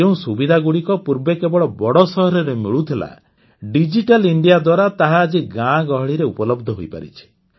ଯେଉଁ ସୁବିଧାଗୁଡ଼ିକ ପୂର୍ବେ କେବଳ ବଡ଼ ସହରରେ ମିଳୁଥିଲା ଡିଜିଟାଲ ଇଣ୍ଡିଆ ଦ୍ୱାରା ତାହା ଆଜି ଗାଁ ଗହଳିରେ ଉପଲବ୍ଧ ହୋଇପାରିଛି